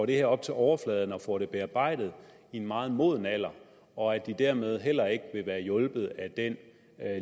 det her op til overfladen og får det bearbejdet i en meget moden alder og at de dermed heller ikke vil være hjulpet af den